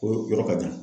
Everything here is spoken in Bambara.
O yɔrɔ ka jan